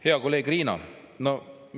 Hea kolleeg Riina!